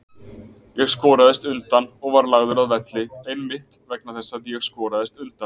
Ég skoraðist undan og var lagður að velli einmitt vegna þess að ég skoraðist undan.